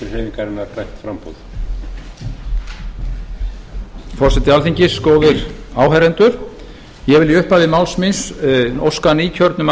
herborg skrifar steingrím forseti alþingis góðir áheyrendur ég vil í upphafi máls míns óska nýkjörnum